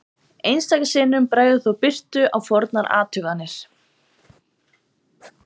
einstaka sinnum bregður þó birtu á fornar athuganir